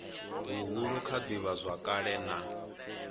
huhulu kha ivhazwakale na kha